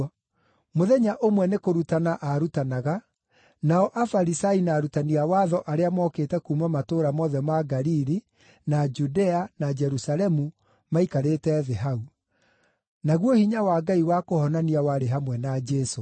Mũthenya ũmwe nĩ kũrutana aarutanaga, nao Afarisai na arutani a watho arĩa mookĩte kuuma matũũra mothe ma Galili, na Judea, na Jerusalemu, maikarĩte thĩ hau. Naguo hinya wa Ngai wa kũhonania warĩ hamwe na Jesũ.